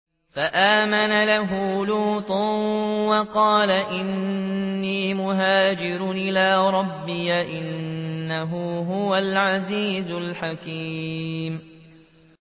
۞ فَآمَنَ لَهُ لُوطٌ ۘ وَقَالَ إِنِّي مُهَاجِرٌ إِلَىٰ رَبِّي ۖ إِنَّهُ هُوَ الْعَزِيزُ الْحَكِيمُ